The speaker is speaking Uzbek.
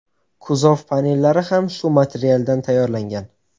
Kuzov panellari ham shu materialdan tayyorlangan.